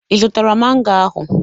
Ị zụtara mango ahụ?